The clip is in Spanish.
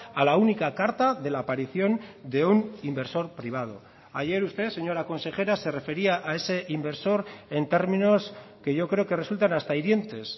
a la única carta de la aparición de un inversor privado ayer usted señora consejera se refería a ese inversor en términos que yo creo que resultan hasta hirientes